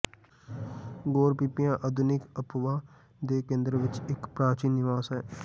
ਗੋਰਪੀਪੀਆ ਆਧੁਨਿਕ ਅਨਪਾ ਦੇ ਕੇਂਦਰ ਵਿਚ ਇਕ ਪ੍ਰਾਚੀਨ ਨਿਵਾਸ ਹੈ